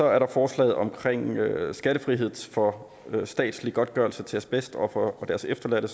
er der forslaget omkring skattefrihed for statslig godtgørelse til asbestofre og deres efterladte og